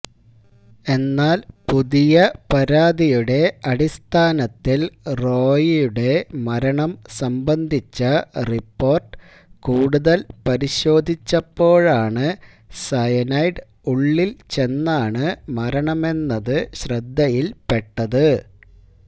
എന്നാൽ പുതിയ പരാതിയുടെ അടിസ്ഥാനത്തിൽ റോയിയുടെ മരണം സംബന്ധിച്ച റിപ്പോർട്ട് കൂടുതൽ പരിശോധിച്ചപ്പോഴാണ് സയനൈഡ് ഉള്ളിൽ ചെന്നാണ് മരണമെന്നത് ശ്രദ്ധയിൽപ്പെട്ടത്